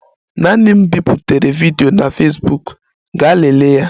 Naanị m biputere vidiyo na Fesbuk, gaa lelee ya